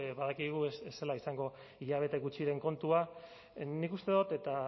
badakigu ez zela izango hilabete gutxiren kontua nik uste dut eta